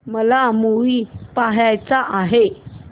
मला मूवी पहायचा आहे